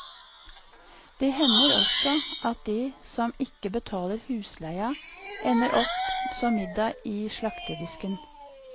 Det hender også at de som ikke betaler husleia ender opp som middag i slakterdisken.